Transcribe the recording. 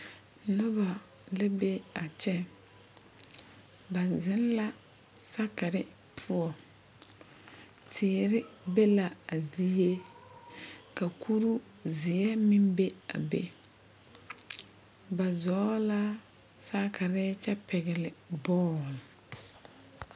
Noba la be a kyɛ ba zeŋ la sakari poɔ teere be la a zie ka kuruu zeɛ meŋ be a be ba zɔɔ la sakiri kyɛ pɛgle bɔl.